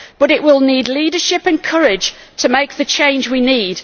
It will need leadership and courage to make the change we need.